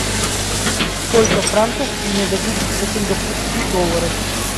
сколько франков мне дадут за сингапурские доллары